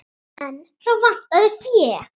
En þá vantaði fé.